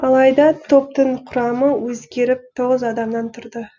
алайда топтың құрамы өзгеріп тоғыз адамнан тұрды